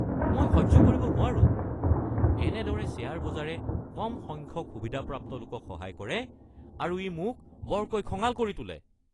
মই সহ্য কৰিব নোৱাৰো কেনেদৰে শ্বেয়াৰ বজাৰে কম সংখ্যক সুবিধাপ্ৰাপ্ত লোকক সহায় কৰে আৰু ই মোক বৰকৈ খঙাল কৰি তোলে।